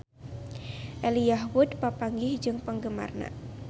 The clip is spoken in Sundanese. Elijah Wood papanggih jeung penggemarna